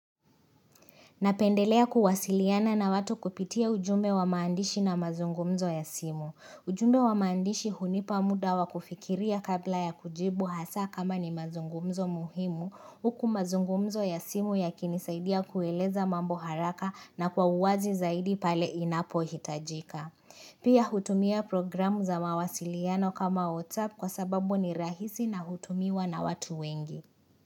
Napendelea kuwasiliana na watu kupitia ujumbe wa maandishi na mazungumzo ya simu. Ujumbe wa maandishi hunipa muda wa kufikiria kabla ya kujibu hasa kama ni mazungumzo muhimu. Huku mazungumzo ya simu yakinisaidia kueleza mambo haraka na kwa uwazi zaidi pale inapo hitajika. Pia hutumia programu za mawasiliano kama WhatsApp kwa sababu ni rahisi na hutumiwa na watu wengi.